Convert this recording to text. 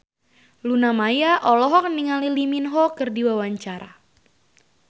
Luna Maya olohok ningali Lee Min Ho keur diwawancara